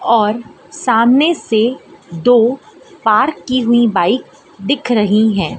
और सामने से दो पार्क की हुई बाइक दिख रही हैं।